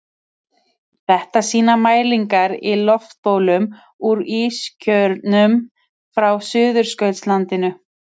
Þetta sýna mælingar í loftbólum úr ískjörnum frá Suðurskautslandinu.